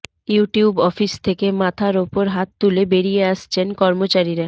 YouTube office থেকে মাথার ওপর হাত তুলে বেরিয়ে আসছেন কর্মচারীরা